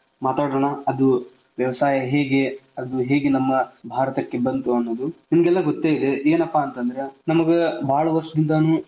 ಅದರ ಬಗ್ಗೆ ಸ್ವಲ್ಪ ಮಾತಾಡೋಣ ಅದು ವ್ಯವಸಾಯ ಹೇಗೆ ಅದು ಹೇಗೆ ನಮ್ಮ ಭಾರತಕ್ಕೆ ಬಂತು ಅನ್ನೋದು ನಿಮಗೆಲ್ಲಾ ಗೊತ್ತೆ ಇದೆ ಏನಪ್ಪಾ ಅಂತ ಅಂದ್ರೆ ನಮಗ್ ಬಾಳ್ ವರ್ಷದಿಂದಾನು.